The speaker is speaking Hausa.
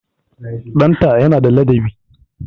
Ɗanta yana da ladabi